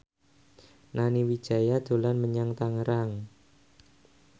Nani Wijaya dolan menyang Tangerang